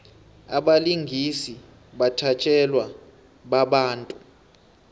abalingisi bathatjelwa babantu